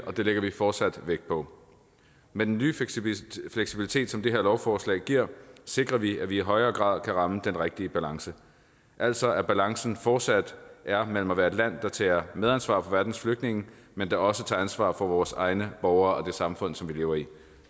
og det lægger vi fortsat vægt på med den nye fleksibilitet fleksibilitet som det her lovforslag giver sikrer vi at vi i højere grad kan ramme den rigtige balance altså at balancen fortsat er mellem at være et land der tager medansvar for verdens flygtninge men også tager ansvar for vores egne borgere og det samfund som vi lever i